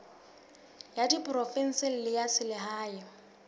ya diprovense le ya selehae